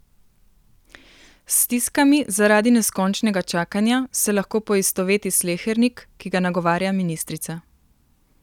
S stiskami zaradi neskončnega čakanja se lahko poistoveti slehernik, ki ga nagovarja ministrica.